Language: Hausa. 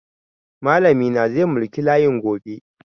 Malami na zai mulki layin gobe.